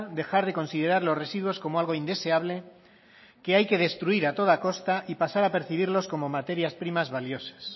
dejar de considerar los residuos como algo indeseable que hay que destruir a toda costa y pasar a percibirlos como materias primas valiosas